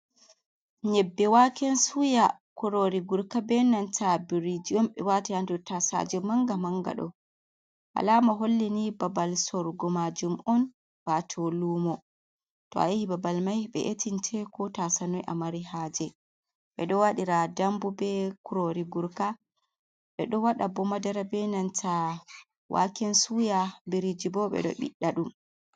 Yebbe waken suya kurori gurka benanta birji un be wati ha nder tasaje manga manga do alama holli ni babal sorgo majum'on bato lumo to a yahi babal mai be etinteko ta sanoi a mari haje be do wadira dambu be kurori gurka be do wada bo madara benanta waken suya birijibo bedo biɗda dum.